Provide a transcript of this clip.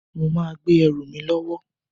Mo máa gbé ẹrù mi lọ́wọ́